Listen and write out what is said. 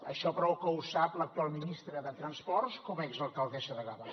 això prou que ho sap l’actual ministra de transports com a exalcaldessa de gavà